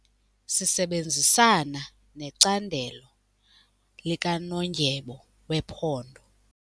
Sisebenzisana necandelo likanondyebo wephondo.